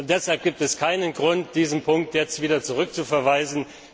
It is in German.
Deshalb gibt es keinen Grund, diesen Punkt wieder zurückzuverweisen.